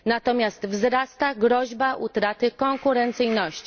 Natomiast wzrasta groźba utraty konkurencyjności.